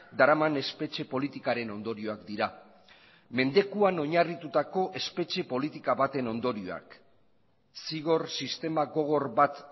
daraman espetxe politikaren ondorioak dira mendekuan oinarritutako espetxe politika baten ondorioak zigor sistema gogor bat